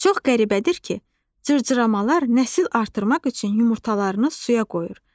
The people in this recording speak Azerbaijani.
Çox qəribədir ki, cırcıramalar nəsil artırmaq üçün yumurtalarını suya qoyur.